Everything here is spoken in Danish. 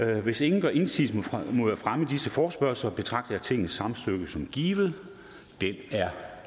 hvis ingen gør indsigelse mod fremme af disse forespørgsler betragter jeg tingets samtykke som givet det er